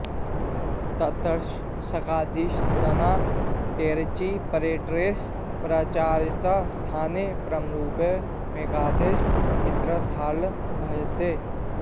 ततश्च शकादिशब्दानां टेरचि परे टेश्च परस्याचश्च स्थाने पररूपमेकादेश इत्यर्थाल्लभ्यते